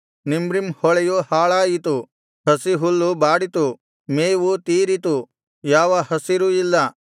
ನಿಮ್ರೀಮ್ ಹೊಳೆಯು ಹಾಳಾಯಿತು ಹಸಿಹುಲ್ಲು ಬಾಡಿತು ಮೇವು ತೀರಿತು ಯಾವ ಹಸಿರೂ ಇಲ್ಲ